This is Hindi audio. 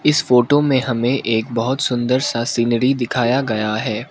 इस फोटो में हमे एक बहोत सुंदर सा सीनरी दिखाया गया है।